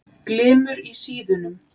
Glymur í síðunum.